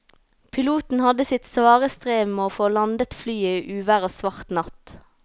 Piloten hadde sitt svare strev med å få landet flyet i uvær og svart natt.